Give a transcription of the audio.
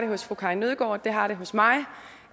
hos fru karin nødgaard og det har den hos mig